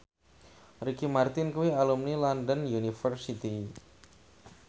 Ricky Martin kuwi alumni London University